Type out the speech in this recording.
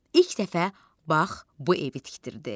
İlk dəfə bax bu evi tikdirdi.